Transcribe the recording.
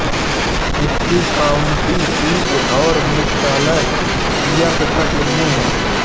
इसकी county seat और मुख्यालय यॅंकटन में है